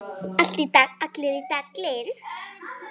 Allir í Dalinn!